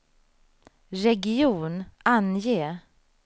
region, ange